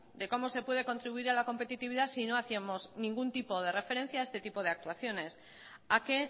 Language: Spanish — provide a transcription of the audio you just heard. de cómo se puede contribuir a la competitividad si no hacíamos ningún tipo de referencia a este tipo de actuaciones a que